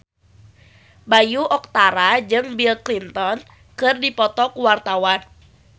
Bayu Octara jeung Bill Clinton keur dipoto ku wartawan